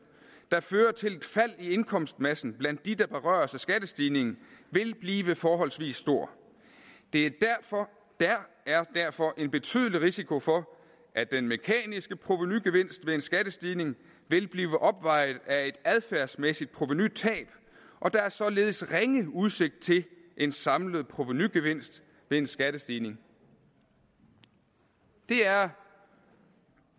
der fører til et fald i indkomstmassen blandt de der berøres af skattestigningen vil blive forholdsvis stor der er derfor en betydelig risiko for at den mekaniske provenugevinst ved en skattestigning vil blive opvejet af et adfærdsmæssigt provenutab og der er således ringe udsigt til en samlet provenugevinst ved en skattestigning det er